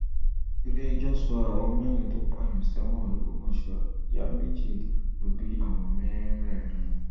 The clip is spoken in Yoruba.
iléẹjọ sọ àwọn mẹrin tó pààyàn sẹwọn logbomọsọ ìyá méjì lọ bí àwọn mẹrẹẹrin